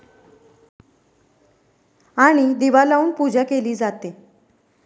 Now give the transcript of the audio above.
आणि दिवा लावून पूजा केली जाते.